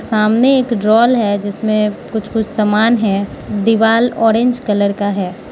सामने एक ड्रॉल है जिसमें कुछ कुछ सामान है दीवाल ऑरेंज कलर का है।